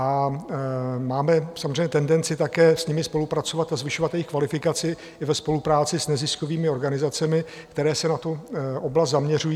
A máme samozřejmě tendenci také s nimi spolupracovat a zvyšovat jejich kvalifikaci i ve spolupráci s neziskovými organizacemi, které se na tu oblast zaměřují.